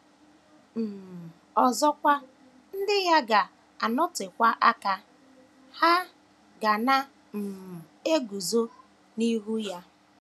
um Ọzọkwa, ndị ya ga - anọtekwa aka; ha “ ga na - um eguzo ” n’ihu ya.